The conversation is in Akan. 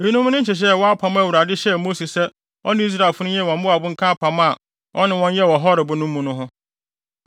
Eyinom ne nhyehyɛe a ɛwɔ apam a Awurade hyɛɛ Mose sɛ ɔne Israelfo no nyɛ wɔ Moab nka apam a ɔne wɔn yɛɛ no wɔ Horeb no mu no ho.